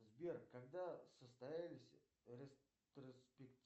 сбер когда состоялись